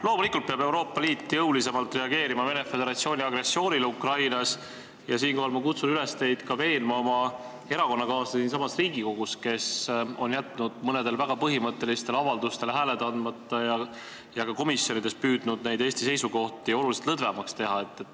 Loomulikult peab Euroopa Liit jõulisemalt reageerima Venemaa Föderatsiooni agressioonile Ukrainas ja siinkohal ma kutsun teid üles veenma ka oma erakonnakaaslasi siinsamas Riigikogus, kes on jätnud mõnele väga põhimõttelisele avaldusele hääled andmata ja ka komisjonides püüdnud neid Eesti seisukohti oluliselt leebemaks teha.